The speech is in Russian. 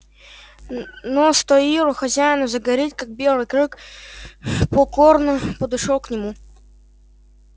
но стоило хозяину заговорить как белый клык покорно подошёл к нему